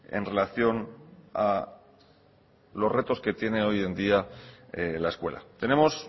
en relación a los retos que tiene hoy en día la escuela tenemos